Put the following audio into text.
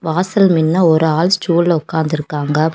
வாசல் மின்ன ஒரு ஆள் ஸ்டூல்ல உக்காந்து இருக்காங்க.